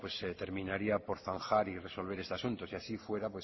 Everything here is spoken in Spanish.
terminaría por zanjar y resolver este asunto si así fuera